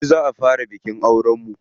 Jibi za a fara bikin auren mu.